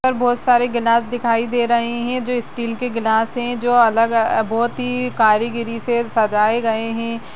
और बहोत सारे ग्लास दिखाई दे रहे हैं जो स्टील के ग्लास हैं जो अलग बहोत ही कारीगरी से सजाए गए हैं।